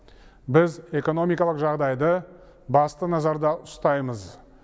біз экономикалық жағдайды басты назарда ұстаймыз